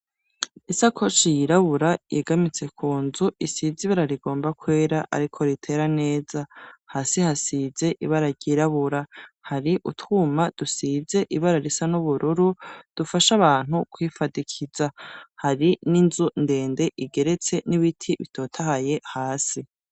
Isakoshi yirabura yegamitse ku nzu isize ibara rigomba kwera ariko ritera neza, hasi hasize ibara ryirabura hari utwuma dusize ibara risa n'ubururu dufasha abantu kwifadikiza hari n'inzu ndende igeretse n'ibiti bitotahaye hasi.